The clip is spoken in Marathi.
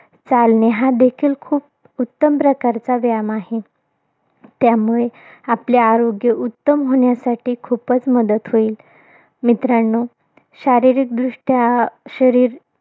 चालणे, हा देखील खूप उत्तम प्रकारचा व्यायाम आहे. त्यामुळे, आपले आरोग्य उत्तम होण्यासाठी खुपचं मदत होईल. मित्रांनो, शारीरिकदृष्ट्या अं शरीर,